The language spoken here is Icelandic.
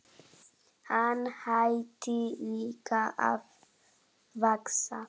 Hann hætti líka að vaxa.